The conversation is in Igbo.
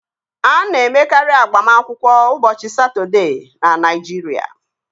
A na-emekarị agbamakwụkwọ ụbọchị Satọdee na Naịjirịa